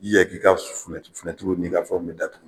I yɛrɛ k'i ka ni i ka fɛnw bɛɛ datugu.